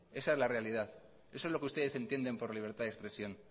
esa es la realidad eso es lo que ustedes entienden por libertad de expresión